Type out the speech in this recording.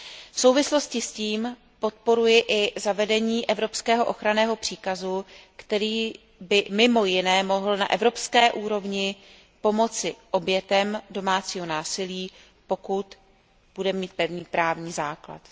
V souvislosti s tím podporuji i zavedení evropského ochranného příkazu, který by mimo jiné mohl na evropské úrovni pomoci obětem domácího násilí, pokud bude mít pevný právní základ.